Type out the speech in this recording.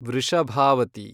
Vrishabhavathi